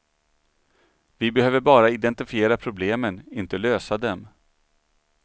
Vi behöver bara identifiera problemen, inte lösa dem.